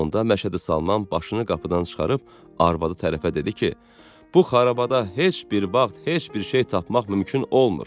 Onda Məşədi Salman başını qapıdan çıxarıb arvadı tərəfə dedi ki: Bu xarabada heç bir vaxt heç bir şey tapmaq mümkün olmur.